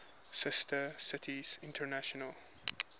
sister cities international